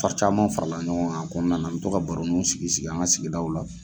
Wari caman farala ɲɔgɔn kan a kɔnɔna na, an bɛ to ka baroniw sigi sigi an ka sigidaw la.